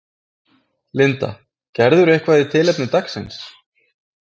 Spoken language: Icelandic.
Linda: Gerirðu eitthvað í tilefni dagsins?